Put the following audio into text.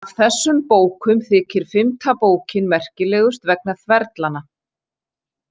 Af þessum bókum þykir fimmta bókin merkilegust vegna þverlanna.